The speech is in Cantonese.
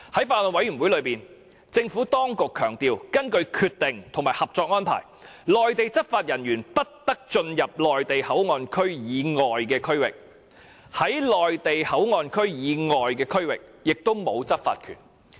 在法案委員會上，政府當局強調，根據《決定》和《合作安排》，內地執法人員不得進入內地口岸區以外的區域，在內地口岸區以外的區域也沒有執法權。